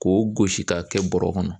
K'o gosi k'a kɛ bɔrɛ kɔnɔ.